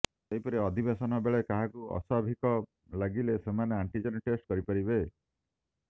ସେହିପରି ଅଧିବେଶନ ବେଳେ କାହାକୁ ଅସ୍ୱାଭାବିକ ଲାଗିଲେ ସେମାନେ ଆଣ୍ଟିଜେନ୍ ଟେଷ୍ଟ କରିପାରିବେ